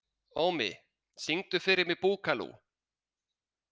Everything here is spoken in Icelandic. Ómi, syngdu fyrir mig „Búkalú“.